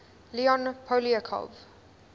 leon poliakov